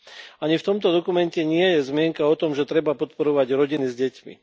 Ani v tomto dokumente nie je zmienka o tom, že treba podporovať rodiny s deťmi.